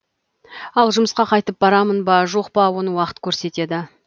ал жұмысқа қайтып барамын ба жоқ па оны уақыт көрсетеді